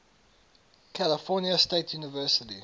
california state university